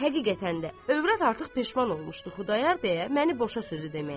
Həqiqətən də övrət artıq peşman olmuşdu Xudayar bəyə məni boşa sözü deməkdən.